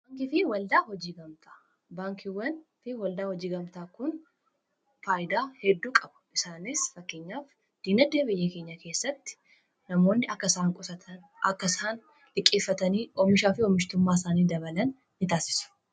Baankiiwwan fi waldaa hojii gamtaa kun faayidaa hedduu qabu isaaniis fakkeenyaaf diinagadee biyyii keenyaa keessatti namoonni akkasaan liqqeeffatanii omishaa fi omishtummaa isaanii dabalan ni taasisuu.